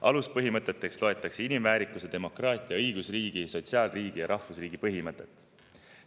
Aluspõhimõteteks loetakse inimväärikuse, demokraatia, õigusriigi, sotsiaalriigi ja rahvusriigi põhimõtet.